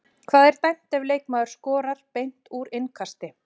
Hvað er dæmt ef leikmaður skorar beint úr innkasti?